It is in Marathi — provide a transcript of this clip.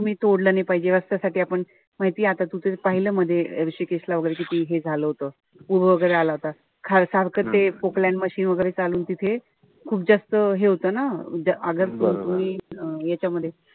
तुम्ही तोडलं नाही पाहिजे. असं सगळं आपण माहिती ते तू आता पाहिलं मध्ये हृषीकेशला वगैरे हे किती झालं होत. पूर वगैरे आला होता. सारखं ते machine वगरे चालवून तिथे खूप जास्त हे होत ना. यांच्यामध्ये,